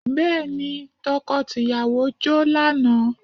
Bẹ́ẹ̀ni, tọkọ tìyàwó jó lánàá